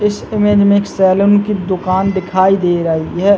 इस इमेज मे एक सेलून की दुकान दिखाई दे रही है।